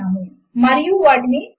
మూడు సమీకరణముల ఒక సెట్ ను వ్రాయండి